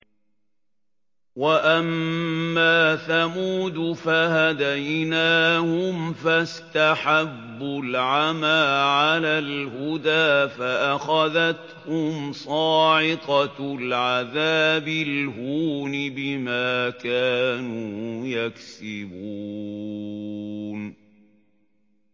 وَأَمَّا ثَمُودُ فَهَدَيْنَاهُمْ فَاسْتَحَبُّوا الْعَمَىٰ عَلَى الْهُدَىٰ فَأَخَذَتْهُمْ صَاعِقَةُ الْعَذَابِ الْهُونِ بِمَا كَانُوا يَكْسِبُونَ